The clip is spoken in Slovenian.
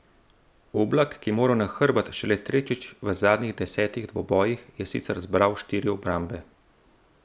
Oblak, ki je moral na hrbet šele tretjič v zadnjih desetih dvobojih, je sicer zbral štiri obrambe.